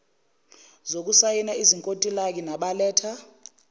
zokusayina izinkontilaki nabaletha